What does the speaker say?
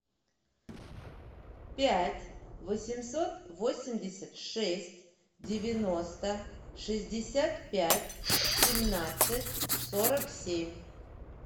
пять восемьсот восемьдесят шесть девяносто шестьдесят пять семнадцать сорок семь